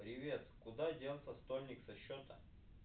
привет куда делся стольник со счета